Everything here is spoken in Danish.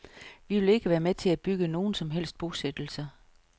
Vi vil ikke være med til at bygge nogen som helst bosættelser.